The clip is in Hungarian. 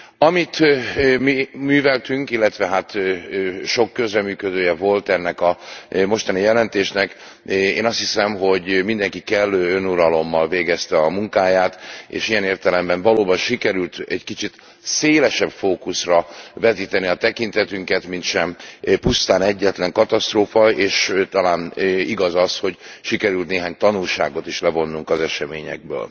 Amit mi műveltünk, illetve hát sok közreműködője volt ennek a mostani jelentésnek, én azt hiszem, hogy mindenki kellő önuralommal végezte a munkáját, és ilyen értelemben valóban sikerült egy kicsit szélesebb fókuszra vetíteni a tekintetünket, mintsem pusztán egyetlen katasztrófa, és talán igaz az, hogy sikerült néhány tanulságot is levonnunk az eseményekből.